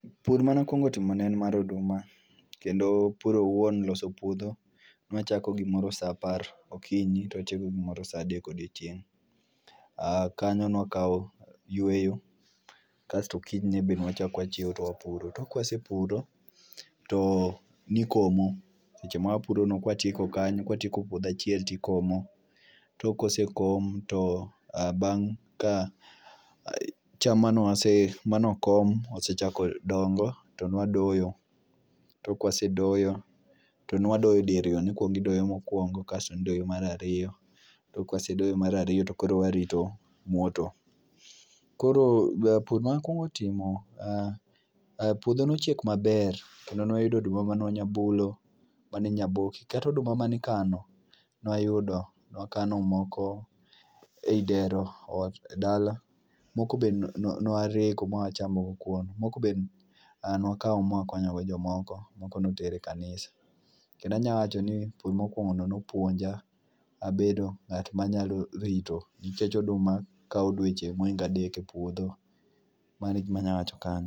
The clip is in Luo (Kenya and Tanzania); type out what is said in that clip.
Pur manakwongo timo ne en mar oduma, kendo pur owuon loso puodho newachako gimoro sa apar okinyi to watieko gimoro sa adek odiochieng'. A kanyo nwakawo yweyo kasto kinyne be nwachak wachiewo to wapuro. Tok kwasepuro to nikomo, seche mawapurono kwatieko kanyo kwatieko puodho achiel tikomo. Tok kosekom to a bang' ka cham manewase manokom osechako dongo to nwadoyo. Tok kwasedoyo to nwadoyo diriyo, nikwongidoyo mokwongo kasto nidoyo marariyo. Tok kwasedoyo marariyo to koro warito mwoto. Koro be pur manewakwongo timo, ah ah puodho nochiek maber. Kendo nwayudo oduma mane wanya bulo, maninya boki, katoduma manikano, nwayudo. Nwakano moko ei dero ot dala, moko be nwarego mwachamogo kuon. Moko be a nwakawo mwakonyogo jomoko moko noter e kanisa. Kendo anyawacho ni pur mokwongo no nopuonja abedo ng'at ma nyalo rito. Nikech oduma kawo dweche mohingo adek e puodho. Mano e gima anyawacho kanyo.